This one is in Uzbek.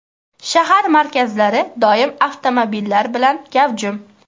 Shahar markazlari doim avtomobillar bilan gavjum.